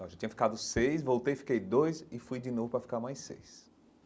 Eu já tinha ficado seis, voltei, fiquei dois e fui de novo para ficar mais seis.